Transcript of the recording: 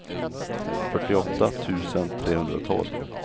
fyrtioåtta tusen trehundratolv